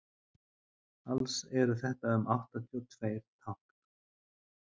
alls eru þetta um áttatíu og tveir tákn